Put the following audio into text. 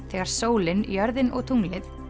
þegar sólin jörðin og tunglið